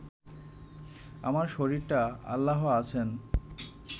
আমার শরীরটা আল্লাহ আছেন